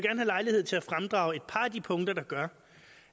have lejlighed til at fremdrage et par af de punkter der gør